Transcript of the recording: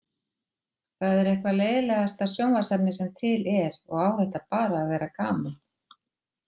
Það er eitthvað leiðinlegasta sjónvarpsefni sem til er og á þetta bara að vera gaman